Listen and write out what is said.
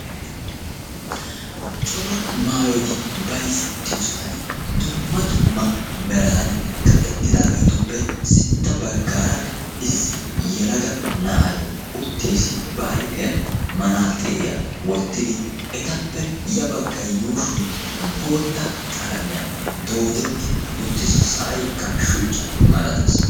Cora maayyoti bayzzetiyoosan dumma dumma meran kaqetidaagetuppe sintta baggaara issi yelaga na'ay uttiis ba aypiyan manaxiriya wottidi, etappe ya baggaa yuushshoy bootta qalamiyaan doodeti uttiis. Sa'aykka shuchcja malatees.